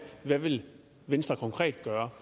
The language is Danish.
hvad vil venstre konkret gøre